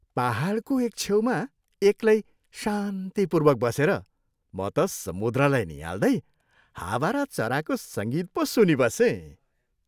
पाहाडको एक छेउमा एक्लै शान्तिपूर्वक बसेर म त समुद्रलाई नियाल्दै हावा र चराको सङ्गीत पो सुनिबसेँ।